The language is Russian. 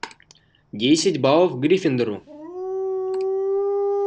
десять баллов гриффиндору